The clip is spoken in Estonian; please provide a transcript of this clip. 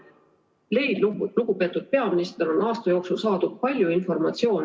Teil, lugupeetud peaminister, on aasta jooksul saadud palju informatsiooni.